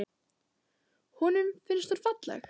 Honum finnst hún falleg.